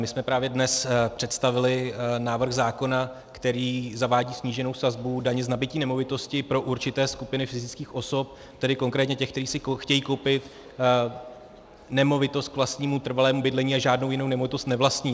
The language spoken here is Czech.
My jsme právě dnes představili návrh zákona, který zavádí sníženou sazbu daně z nabytí nemovitosti pro určité skupiny fyzických osob, tedy konkrétně těch, které si chtějí koupit nemovitost k vlastnímu trvalému bydlení a žádnou jinou nemovitosti nevlastní.